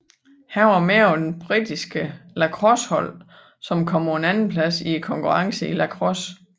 Han var med på det britiske lacrossehold som kom på en andenplads i konkurrencen i lacrosse